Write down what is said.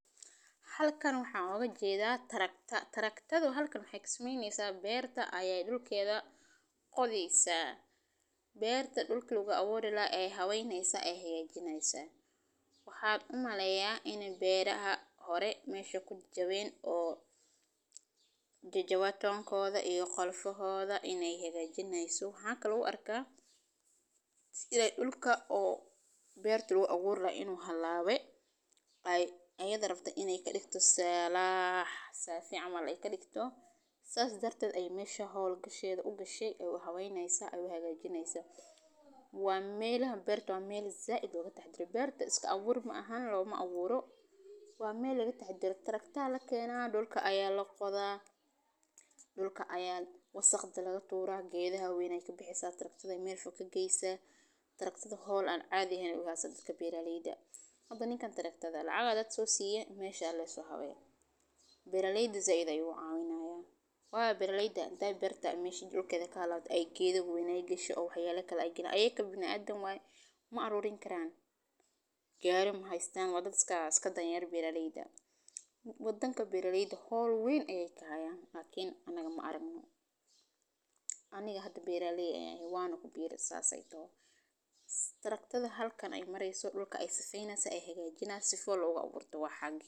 Halkan waxaan ooga jeeda tractor waxa lagama maarmaan ah in la qodo dhulka si loo diyaariyo laguna beero abuurka, qodista waxay ka kooban tahay in la isticmaalo qalin weyn oo la adeegsado xoolaha sida digaagada, lo’da, ama fardaha, ama qalabka qodista ee makiinadaha sida tractorada, qodista waxay caawisaa in la kala furo dhulka, la nadiifiyo weedho, la furo hawo iyo biyo si ay u gaadhaan ilkaha, la sinayo dhulka si uu u noqdo mid jilicsan oo habboon beerista, qodista wanaagsan waxay horseedaa beer fiican oo soo saar weyn, waxayna taageertaa nafaqada qoyska iyo dhaqaalaha guud, sidaa darteed qof kasta oo beerale ah waa inuu fahmo muhiimadda qodista saxda ah iyo habka lagu qodo karo si loo gaaro natiijooyinka raadka loogu talagalay.